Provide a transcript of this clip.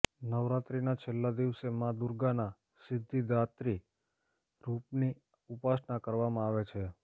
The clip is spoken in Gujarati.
નવરાત્રીના છેલ્લા દિવસે મા દુર્ગાના સિદ્ધિદાત્રી રૂપની ઉપાસના કરવામાં આવે છે